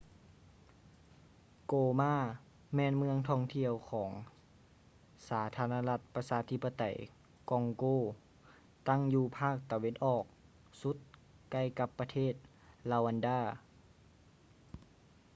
ໂກມາ goma ແມ່ນເມືອງທ່ອງທ່ຽວຂອງສາທາລະນະລັດປະຊາທິປະໄຕກອງໂກ ຕັ້ງຢູ່ພາກຕາເວັນອອກສຸດໃກ້ກັບປະເທດ ຣາວັນດາ